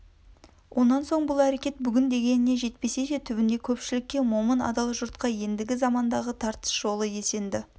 онан соң бұл әрекет бүгін дегеніне жетпесе де түбінде көпшілікке момын адал жұртқа ендігі замандағы тартыс жолы есенді